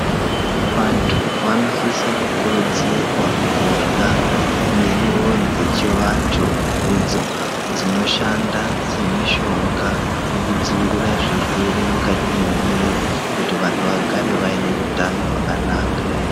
Vantu vanosisa kukurudzirwa kurya muriwo dzechivantu idzo dzinoshanda semushonga mukdzivirira zvirwere mukati mwemwiri kuti vantu vagare vane utano wakanaka.